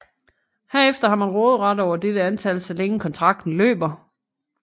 Herefter har man råderet over dette antal så længe kontrakten løber